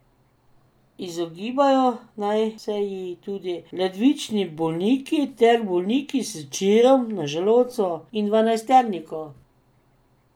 Izogibajo naj se ji tudi ledvični bolniki ter bolniki s čirom na želodcu in dvanajsterniku.